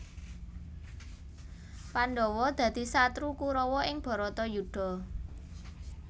Pandhawa dadi satru Kurawa ing Bharatayudha